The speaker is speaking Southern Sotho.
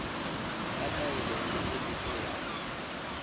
ya taelo ya tshireletso ya